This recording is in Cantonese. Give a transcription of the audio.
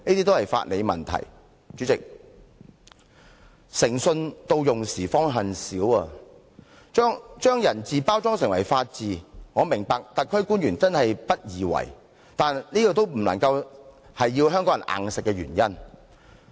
代理主席，"誠信到用時方恨少"，要把人治包裝成法治，我明白特區官員真的不易為，但總不成硬要港人接受吧？